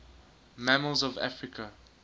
mammals of africa